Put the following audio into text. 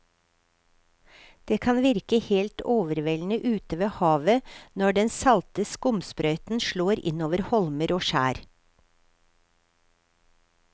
Det kan virke helt overveldende ute ved havet når den salte skumsprøyten slår innover holmer og skjær.